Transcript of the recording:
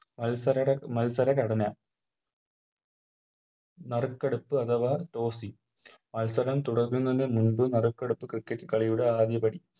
മത്സരട മത്സരഘടന നറുക്കെടുപ്പ് അഥവാ Toss മത്സരം തുടങ്ങുന്നതിനു മുൻപ് നറുക്കെടുപ്പ് Cricket കളിയുടെ ആദ്യപടി